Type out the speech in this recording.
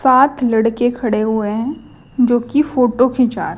साथ लड़के खड़े हुए है जोकि फोटो खींचा--